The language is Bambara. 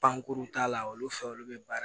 Pankurun t'a la olu fɛ olu bɛ baara